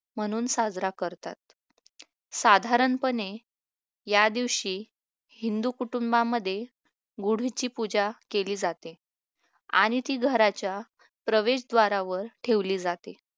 म्हणून साजरा करतात साधारणपणे या दिवशी हिंदू कुटुंबामध्ये गुढीची पूजा केली जाते आणि ती घराच्या प्रवेशद्वारावर ठेवली जाते